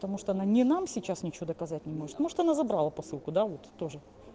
потому что она не нам сейчас ничего доказать не может может она забрала посылку да вот тоже